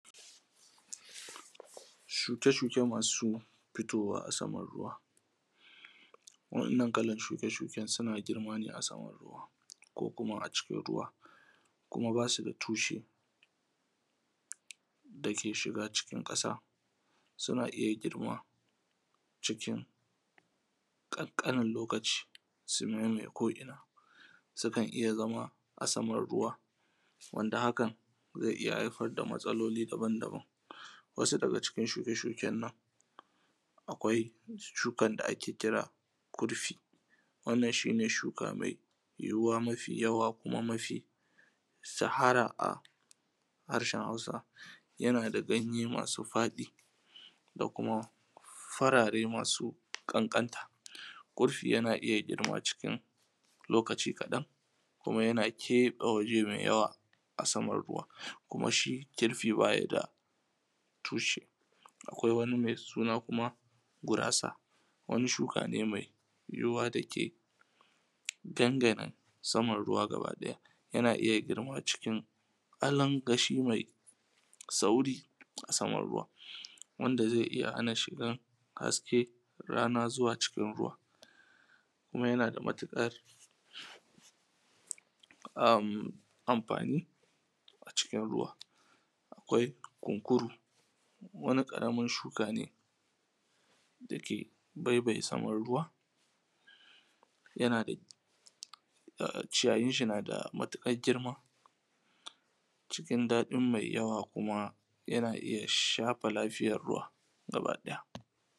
Shuke shuke masu fitowa a saman ruwa, waɗannan kalan shuke shuken suna girma ne a saman ruwa, ko kuma a cikin ruwa. Kuma ba su da tushe da ke shiga cikin ƙasa. Suna iya girma cikin ƙanƙanin lokaci su mamaye ko ina. Sukan iya zama a saman ruwa, wanda hakan zai iya haifar da matsaloli daban daban. Wasu daga cikin shuke shuken nan, akwai shukan da ake kira kirfi, wannan shine shuka mai yiwuwa mafi yawa kuma mafi shahara a harshen hausa. Yana da ganye masu faɗi da kuma farare masu ƙanƙanta. Kirfi yana iya girma cikin lokaci kaɗan, kuma yana keɓe wuri mai yawa a saman ruwa, kuma shi kirfi ba shi da tushe. Akwai wani mai suna kuma gurasa, wani shuka ne mai yiwuwa dake dangana saman ruwa gaba ɗaya, yana iya girma cikin alan gashi mai sauri a saman ruwa, wanda zai iya hana shigan hasken rana zuwa cikin ruwa, kuma yana da matukar amfani a cikin ruwa. Akwai kunkuru, wani ƙaramin shuka ne da ke baibaye saman ruwa, ciyayinshi na da matuƙar girma cikin daɗin mai yawa kuma yana iya shafe lafiyan ruwa gaba ɗaya.